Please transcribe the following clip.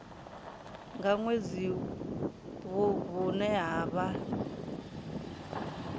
nga ṅwedzi vhune ha vha